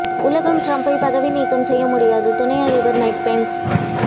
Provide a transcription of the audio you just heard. உலகம் டிரம்பை பதவி நீக்கம் செய்ய முடியாது துணை அதிபர் மைக் பென்ஸ்